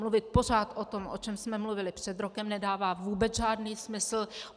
Mluvit pořád o tom, o čem jsme mluvili před rokem, nedává vůbec žádný smysl.